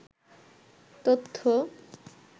তথ্য